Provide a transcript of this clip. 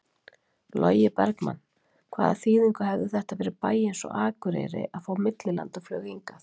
Logi Bergmann: Hvaða þýðingu hefði þetta fyrir bæ eins og Akureyri að fá millilandaflug hingað?